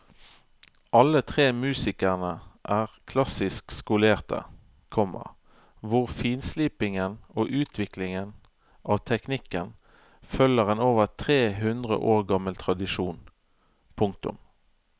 Alle tre musikerne er klassisk skolerte, komma hvor finslipingen og utviklingen av teknikken følger en over tre hundre år gammel tradisjon. punktum